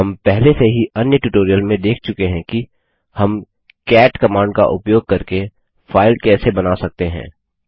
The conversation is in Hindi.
हम पहले से ही अन्य ट्यूटोरियल में देख चुके हैं कि हम कैट कमांड का उपयोग करके फाइल कैसे बना सकते हैं